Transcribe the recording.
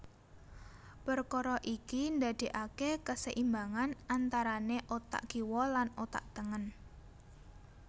Perkara iki ndadekake keseimbangan antarane otak kiwa lan otak tengen